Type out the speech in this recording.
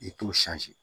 I t'o